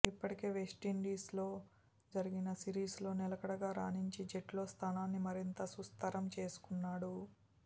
ఇప్పటికే వెస్టిండీస్తో జరిగిన సిరీస్లో నిలకడగా రాణించి జట్టులో స్థానాన్ని మరింత సుస్థరం చేసుకున్నాడు